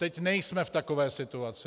Teď nejsme v takové situaci.